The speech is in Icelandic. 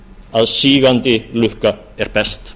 að sígandi lukka er best